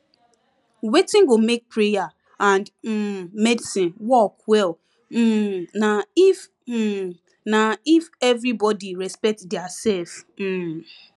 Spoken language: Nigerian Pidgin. wetin go make prayer and um medicine work well um na if um na if everybody respect diasef um